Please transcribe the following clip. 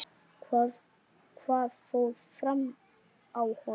Hvað fór fram á honum?